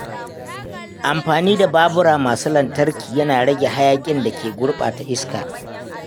Amfani da babura masu lantarki yana rage hayakin da ke gurɓata iska.